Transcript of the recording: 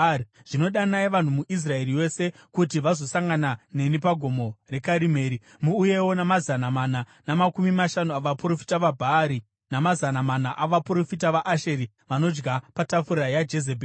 Zvino danai vanhu muIsraeri yose kuti vazosangana neni paGomo reKarimeri. Muuyewo namazana mana namakumi mashanu avaprofita vaBhaari namazana mana avaprofita vaAshera vanodya patafura yaJezebheri.”